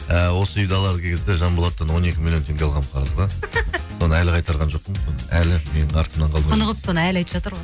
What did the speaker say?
і осы үйді алар кезде жанболаттан он екі миллион теңге алғанмын қарызға соны әлі қайтарған жоқпын соны әлі менің артымнан құнығып соны әлі айтып жатыр ғой